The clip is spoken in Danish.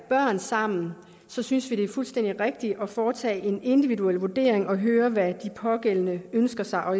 børn sammen så synes vi at det er fuldstændig rigtigt at foretage en individuel vurdering og høre hvad de pågældende ønsker sig og